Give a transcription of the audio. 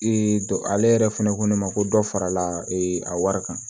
ale yɛrɛ fɛnɛ ko ne ma ko dɔ farala a wari kan